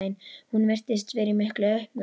Hún virtist vera í miklu uppnámi.